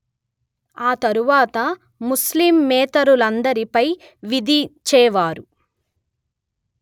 ఆతరువాత ముస్లిమేతరులందరిపై విధించేవారు